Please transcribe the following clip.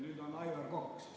Nüüd siis Aivar Kokk.